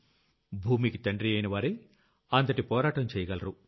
భూమికి తండ్రియైనవారే అంతటి పోరాటం చెయ్యగలరు